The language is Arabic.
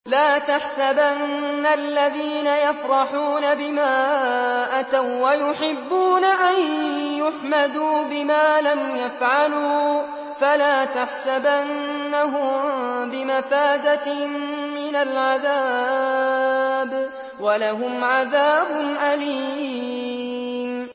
لَا تَحْسَبَنَّ الَّذِينَ يَفْرَحُونَ بِمَا أَتَوا وَّيُحِبُّونَ أَن يُحْمَدُوا بِمَا لَمْ يَفْعَلُوا فَلَا تَحْسَبَنَّهُم بِمَفَازَةٍ مِّنَ الْعَذَابِ ۖ وَلَهُمْ عَذَابٌ أَلِيمٌ